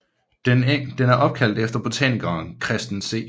Den er opkaldt efter botanikeren Christen C